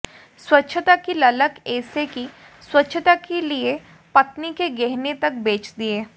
स्वच्छता की ललक ऐसे कि स्वच्छता के लिए पत्नी के गहने तक बेच दिए